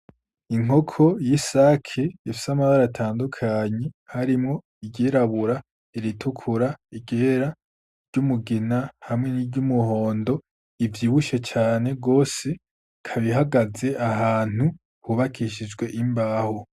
Inkoko y'i sake ifsi amabara atandukanyi harimwo igerabura iritukura igera ry'umugina hamwe ni ry' umuhondo ivy ibushe cane rwose kabihagaze ahantu hubakishijwe imbahu.